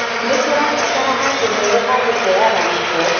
Nĩ tũrabatara handũ heerũ ha gũteaga gĩko